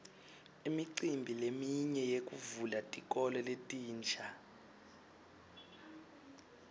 imicimbi leminye yekuvula tikolo letinsha